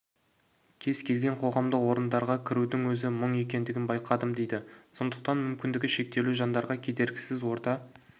келген қоғамдық орындарға кірудің өзі мұң екендігін байқадым дейді сондықтан мүмкіндігі шектеулі жандарға кедергісіз орта